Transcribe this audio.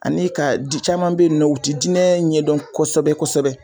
Ani ka di caman be yen nɔ o ti diinɛ ɲɛdɔn kosɛbɛ-kosɛbɛ.